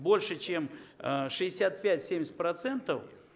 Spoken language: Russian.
больше чем шестьдесят пять семьдесят процентов